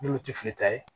N'olu tɛ fili ta ye